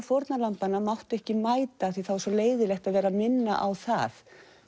fórnarlambanna máttu ekki mæta því það var svo leiðinlegt að vera að minna á það